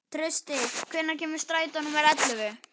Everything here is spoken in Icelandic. Trausti, hvenær kemur strætó númer ellefu?